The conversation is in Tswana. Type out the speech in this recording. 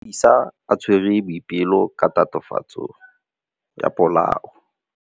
Maphodisa a tshwere Boipelo ka tatofatsô ya polaô.